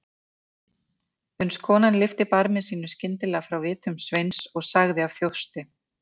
Uns konan lyfti barmi sínum skyndilega frá vitum Sveins og sagði af þjósti